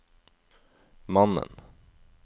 mannen